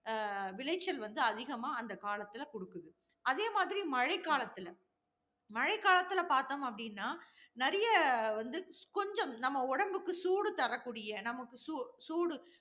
அஹ் விளைச்சல் வந்து அதிகமா அந்த காலத்துல குடுக்குது. அதேமாதிரி மழைக்காலத்தில மழைக்காலத்தில பார்த்தோம் அப்படின்னா, நிறைய வந்து, கொஞ்சம் நம்ப உடம்புக்கு சூடு தரக்கூடிய, நமக்கு சூ~ சூடு